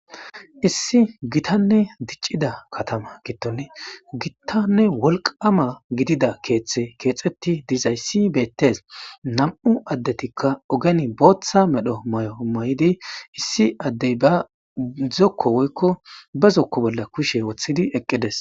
Issi githanne diccida kathama giddoni giththanne wolqqaama gidida keeththe keexeththi dizayssi beeththes; nam7u addethikka ogeni booththa medho mayo mayidi issi addey ba zokko woykko ba zokko bolla kushe wothidi eqqi des.